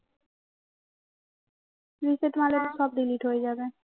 reset মারলে সব delete হয়ে যাবে